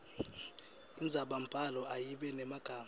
indzabambhalo ayibe nemagama